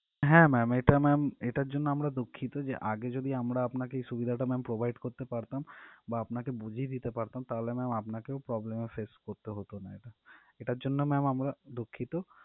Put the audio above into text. হ্যাঁ ma'am এটার জন্য আমরা দুঃখিত যে আগে যদি আমরা এই সুবিধা টা provide করতে পারতাম বা আপনাকে বুঝিয়ে দিতে পারতাম তাহলে ma'am আপনাকেও problem এ face করতে হতো না এটা এটার জন্য ma'am আমরা দুঃখিত